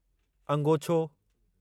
अंगोछो